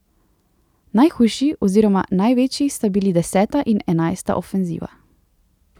Najhujši oziroma največji sta bili deseta in enajsta ofenziva.